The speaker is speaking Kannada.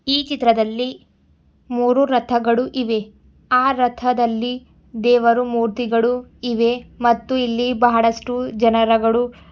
ಈ ಚಿತ್ರದಲ್ಲಿ ಮೂರು ರಥಗಳು ಇವೆ ಆ ರಥದಲ್ಲಿ ದೇವರು ಮೂರ್ತಿಗಳು ಇವೆ ಮತ್ತು ಇಲ್ಲಿ ಬಹಳಷ್ಟು ಜನರಗಡು--